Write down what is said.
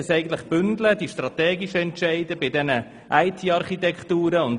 Man sollte die strategischen Entscheide in diesem Bereich viel stärker bündeln.